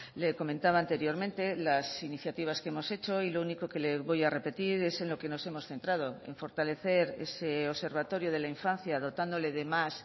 le comentaba anteriormente las iniciativas que hemos hecho y lo único que le voy a repetir es en lo que nos hemos centrado en fortalecer ese observatorio de la infancia dotándole de más